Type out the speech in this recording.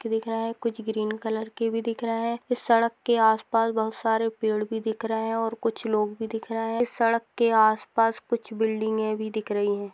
के दिख रहे हैं कुछ ग्रीन कलर के भी दिख रहा है। इस सड़क के आस-पास बहोत सारे पेड़ भी दिख रहे हैं और कुछ लोग भी दिख रहे हैं। इस सड़क के आसपास कुछ बिल्डिंगे भी दिख रही हैं।